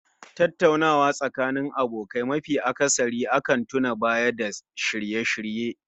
Tattaunawa Tsakanin abokai nafi akasari akan tuna Baya da shirye-shirye